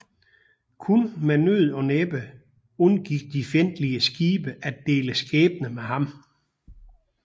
Kun med nød og næppe undgik de fjendtlige skibe at dele skæbne med ham